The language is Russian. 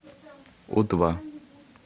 у два